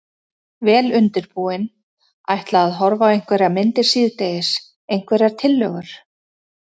Vel undirbúinn. ætla að horfa á einhverjar myndir síðdegis, einhverjar tillögur?